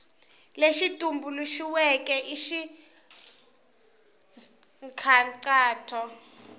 lexi tumbuluxiweke i xa nkhaqato